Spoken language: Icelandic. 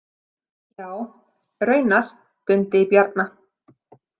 Já, raunar, drundi í Bjarna.